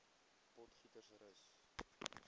potgietersrus